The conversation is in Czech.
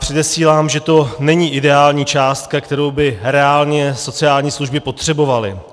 Předesílám, že to není ideální částka, kterou by reálně sociální služby potřebovaly.